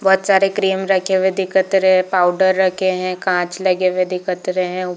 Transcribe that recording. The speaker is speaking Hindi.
बहुत सारे क्रीम रखे हुए दिकत रहे है पाउडर रखे है कांच लगे हुए दिकत रहे है।